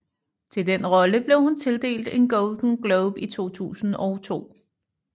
Til den rolle blev hun tildelt en Golden Globe i 2002